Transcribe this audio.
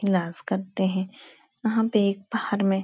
इलाज करते है। वहाँ पे एक बाहर में --